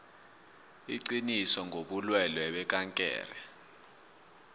iqiniso ngobulwelwe bekankere